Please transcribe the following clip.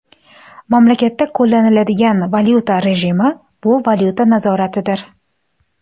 Mamlakatda qo‘llaniladigan valyuta rejimi bu valyuta nazoratidir.